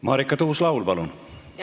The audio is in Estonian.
Marika Tuus-Laul, palun!